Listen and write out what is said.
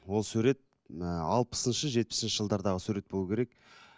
ол сурет ііі алпысыншы жетпісінші жылдардағы сурет болуы керек